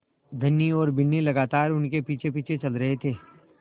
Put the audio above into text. धनी और बिन्नी लगातार उनके पीछेपीछे चल रहे थे